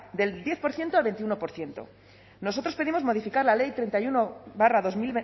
del diez por ciento al veintiuno por ciento nosotros pedimos modificar la ley treinta y uno barra